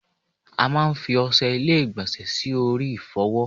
A máa fi Oṣé ilé igbonse sì orí ifowo